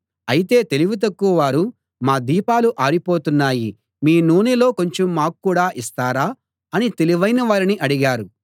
అయితే తెలివి తక్కువవారు మా దీపాలు ఆరిపోతున్నాయి మీ నూనెలో కొంచెం మాక్కూడా ఇస్తారా అని తెలివైన వారిని అడిగారు